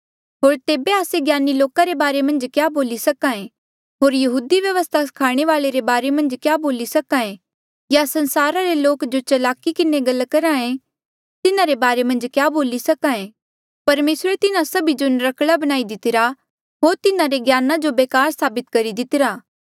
होर तेबे आस्से ज्ञानी लोका रे बारे क्या बोली सके होर यहूदी व्यवस्था स्खाणे वाल्ऐ रे बारे मन्झ क्या बोली सके या संसारा रे लोक जो चलाकी किन्हें गल्ला करहे तिन्हारे बारे मन्झ क्या बोली सके परमेसरे तिन्हा सभी जो नर्क्कला बणाई दितिरा होर तिन्हारे ज्ञान जो बेकार साबित करी दितिरा